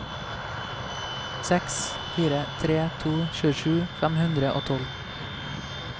seks fire tre to tjuesju fem hundre og tolv